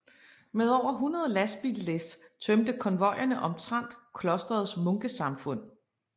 Med over 100 lastbillæs tømte konvojerne omtrent klosterets munkesamfund